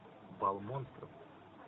бал монстров